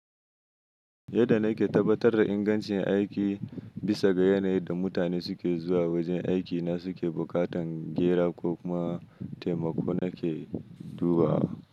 Yadda nake tabbatar da ingancin aiki bisa ga yanayin da mutane suke zuwa wajen aikina suke buƙatar gera ko kuma taimakon ake duba.